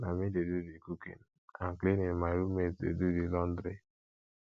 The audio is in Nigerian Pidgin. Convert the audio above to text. na me dey do di cooking and cleaning my roommate dey do di laundry